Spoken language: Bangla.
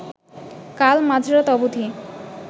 কাল মাঝরাত অবধি